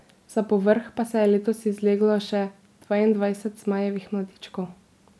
Za povrh pa se je letos izleglo še dvaindvajset zmajevih mladičkov.